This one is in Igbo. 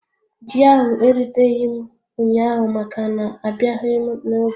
Ji ahụ eruteghị m ụnyaahụ maka na abịaghị m n'oge